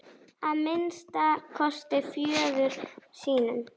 Að minnsta kosti föður sínum.